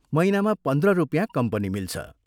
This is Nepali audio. महीनामा पन्ध्र रुपियाँ कम्पनी मिल्छ।